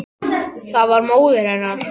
Það var móðir hennar.